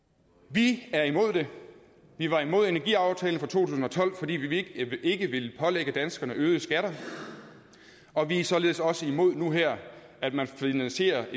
vi er imod det vi var imod energiaftalen fra to tusind og tolv fordi vi ikke ville pålægge danskerne øgede skatter og vi er således også imod nu her at man finansierer